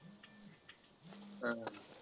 हा हा.